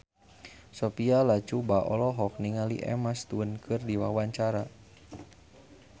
Sophia Latjuba olohok ningali Emma Stone keur diwawancara